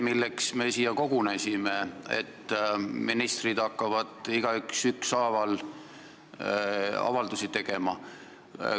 Härra Nestor, see, et ministrid hakkavad igaüks ükshaaval avaldusi tegema, pole täpselt see, milleks me siia kogunesime.